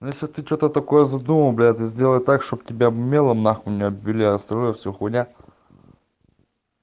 ну если ты что-то такое задумал блядь ты сделай так чтобы тебя мелом на хуй не обвели остальное все хуйня